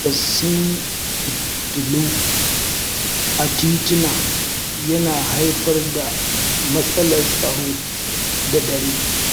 Rashin isassun fitilu a tituna yana haifar da matsalar tsaro da dare.